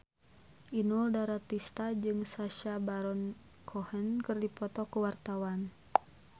Inul Daratista jeung Sacha Baron Cohen keur dipoto ku wartawan